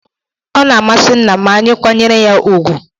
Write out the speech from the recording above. O na amasi nna ma anyị kwanyere ya ùgwù.